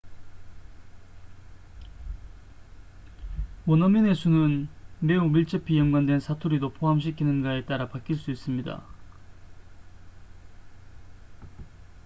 원어민의 수는 매우 밀접히 연관된 사투리도 포함시키는가에 따라 바뀔 수 있습니다